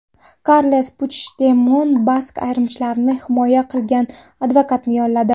Karles Puchdemon bask ayirmachilarini himoya qilgan advokatni yolladi.